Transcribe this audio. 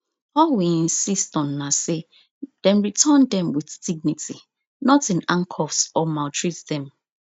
all we insist on na say dem return dem with dignity not in handcuffs or maltreat dem